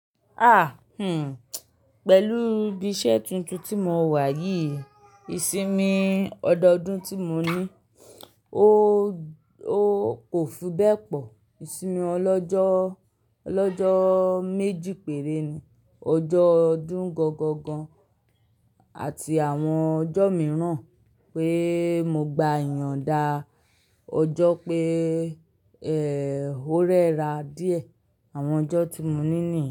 Pẹ̀lú ibi iṣẹ́ tuntun tí mo wà yìí, ìsinmi ọdọdún tí mo ní, ó kò fi bẹ́ẹ̀ pọ̀. Ìsinmi ọlọ́jọ́, ọlọ́jọ́ méjì péré ni. Ọjọ́ ọdún gangan gan, àti àwọn ọjọ́ mìíràn pé mo gba ìyanda, ọjọ́ pé, rẹ́ra díẹ̀. Àwọn ọjọ́ tí mo ní nìyẹn.